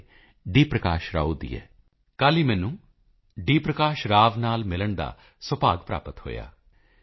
ਪ੍ਰਕਾਸ਼ ਰਾਓ ਦੀ ਹੈ ਸ਼੍ਰੀਮਾਨ ਡੀ